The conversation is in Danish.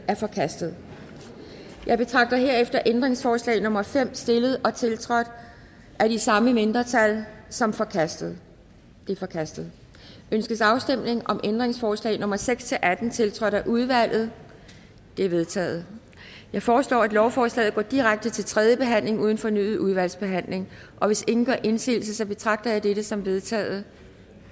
er forkastet jeg betragter herefter ændringsforslag nummer fem stillet og tiltrådt af de samme mindretal som forkastet det er forkastet ønskes afstemning om ændringsforslag nummer seks atten tiltrådt af udvalget de er vedtaget jeg foreslår at lovforslaget går direkte til tredje behandling uden fornyet udvalgsbehandling og hvis ingen gør indsigelse betragter jeg dette som vedtaget